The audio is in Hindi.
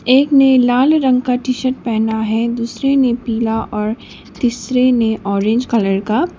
एक ने लाल रंग का टी शर्ट पहना है दूसरे ने पीला और तीसरे ने ऑरेंज कलर का --